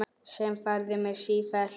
Sem færði mig sífellt nær